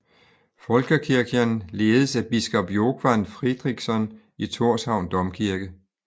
Fólkakirkjan ledes af biskop Jógvan Fríðriksson i Tórshavn Domkirke